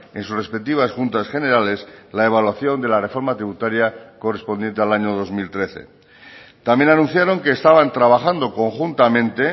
en sus respectivas juntas generales la evaluación de la reforma tributaria correspondiente al año dos mil trece también anunciaron que estaban trabajando conjuntamente